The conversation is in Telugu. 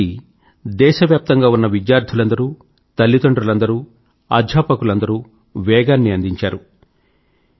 ఈ ఉద్యమాన్ని దేశవ్యాప్తంగా ఉన్న విద్యార్థులందరూ తల్లిదండ్రులందరూ అధ్యాపకులందరూ వేగాన్నందించారు